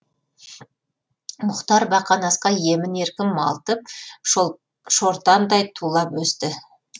мұхтар бақанасқа емін еркін малтып шортандай тулап өсті